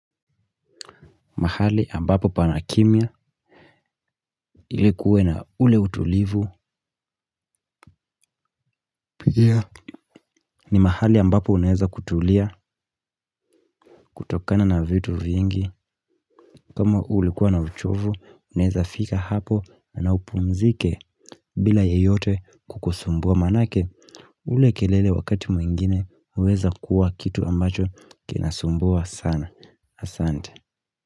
Mahali ambapo pana kimia ilikuwe na ule utulivu. Pia ni mahali ambapo unaeza kutulia. Kutokana na vitu vyingi kama ulikuwa na uchovu unaeza fika hapo na upunzike bila yeyote kukusumbua maanake ule kelele wakati mwingine huweza kuwa kitu ambacho kina sumbua sana. Asante.